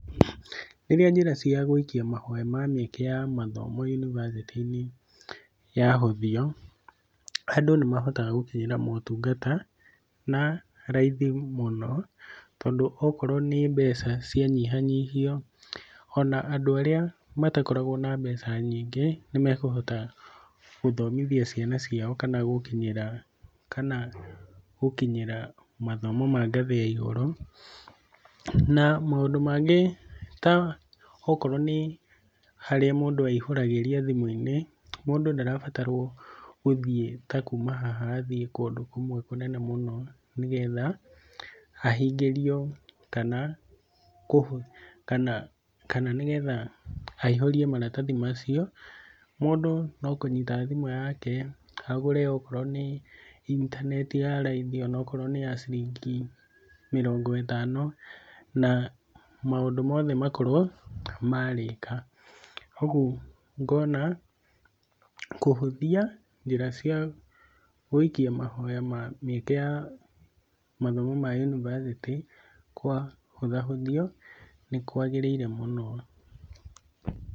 Rĩrĩa njĩra cia gwĩikia mahoya ma mĩeke ya mathomo yunibacĩtĩ-inĩ yahũthio, andũ nĩmahotaga gũkinyĩra motungata na raithi mũno, tondũ okorwo nĩ mbeca cianyihanyihio, ona andũ arĩa matakoragwo na mbeca nyingĩ nĩmekũhota gũthomithia ciana ciao kana gũkinyĩra, kana gũkinyĩra mathomo ma ngathĩ ya igũrũ. Na maũndũ mangĩ ta okorwo nĩ harĩa mũndũ aihũragĩria thimũ-inĩ, mũndũ ndarabatarwo gũthiĩ ta kuuma haha athiĩ kũndũ kũmwe kũnene mũno nĩgetha ahingĩrio kana, kũhũ, kana, kana nĩgetha aihũrie maratathi macio. Mũndũ no kũnyita thimũ yake agũre okorwo nĩ intaneti ya raithi onokorwo nĩ ya ciringi mĩrongo ĩtano na maũndũ mothe makorwo marĩka. Ũgũ ngona kũhũthia njĩra cia gwĩikia mahoya ma mĩeke ya mathomo ma univercity kwahũthahũthio nĩkwagĩrĩire mũno.